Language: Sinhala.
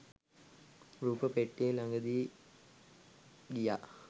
රූප පෙට්ටියේ ලඟදී ගියා